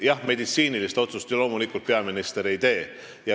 Jah, meditsiinilist otsust loomulikult peaminister ei tee.